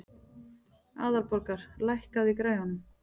Aðalborgar, lækkaðu í græjunum.